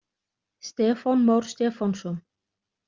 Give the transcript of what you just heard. Stefán Már Stefánsson.